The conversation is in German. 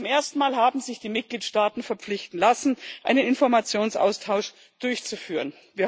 Zum ersten Mal haben sich die Mitgliedstaaten verpflichten lassen, einen Informationsaustausch durchzuführen.